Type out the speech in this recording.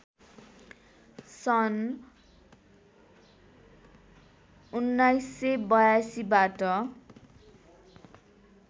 सन् १९८२ बाट